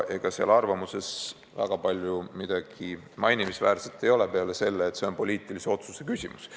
Ega seal arvamuses väga palju midagi mainimisväärset ei ole peale selle, et see on poliitilise otsuse küsimus.